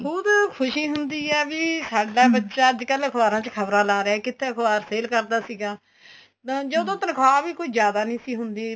ਬਹੁਤ ਖੁਸ਼ੀ ਹੁੰਦੀ ਏ ਵੀ ਸਾਡਾ ਬੱਚਾ ਅੱਜਕਲ ਅਖਬਾਰਾ ਚ ਖਬਰਾ ਲਾ ਰਿਹਾ ਕਿੱਥੇ ਅਖਬਾਰ sale ਕਰਦਾ ਸੀਗਾ ਤਾਂ ਜਦੋਂ ਤਨਖਾਹ ਵੀ ਕੋਈ ਜਿਆਦਾ ਨਹੀਂ ਸੀ ਹੁੰਦੀ